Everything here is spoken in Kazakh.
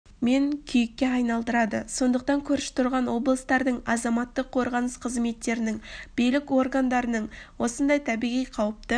мен күйікке айналдырады сондықтан көрші тұрған облыстардың азаматтық қорғаныс қызметтерінің билік органдарының осындай табиғи қауіпті